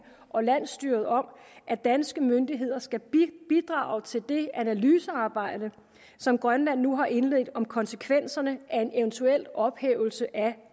og landsstyret om at danske myndigheder skal bidrage til det analysearbejde som grønland nu har indledt om konsekvenserne af en eventuel ophævelse af